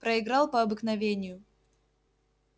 проиграл по обыкновению